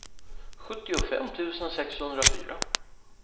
sjuttiofem tusen sexhundrafyra